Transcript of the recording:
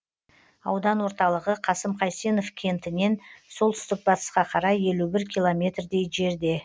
аудан орталығы қасым қайсенов кентінен солтүстік батысқа қарай елу бір километрдей жерде